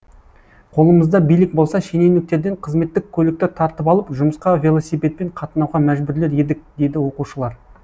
қолымызда билік болса шенеуніктерден қызметтік көлікті тартып алып жұмысқа велосипедпен қатынауға мәжбүрлер едік дейді оқушылар